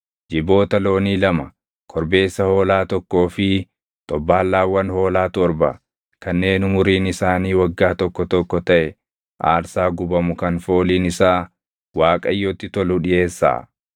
Jiboota loonii lama, korbeessa hoolaa tokkoo fi xobbaallaawwan hoolaa torba kanneen umuriin isaanii waggaa tokko tokko taʼe aarsaa gubamu kan fooliin isaa Waaqayyotti tolu dhiʼeessaa.